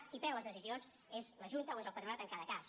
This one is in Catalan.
qui pren les decisions és la junta o és el patronat en cada cas